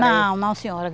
Não, não, senhora.